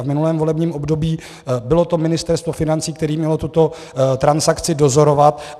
A v minulém volebním období bylo to Ministerstvo financí, které mělo tuto transakci dozorovat.